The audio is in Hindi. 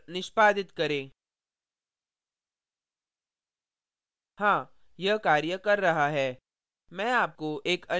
कंपाइल और निष्पादित करें हाँ यह कार्य कर रहा है